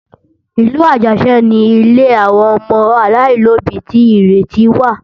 Ìlú Àjàṣẹ́ ni ilé àwọn ọmọ aláìlóbí ti Ìrètí wà